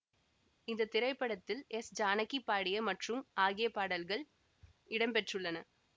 இந்த திரைப்படத்தில் எஸ்ஜானகி பாடிய மற்றும் ஆகிய பாடல்கள் இடம் பெற்றுள்ளன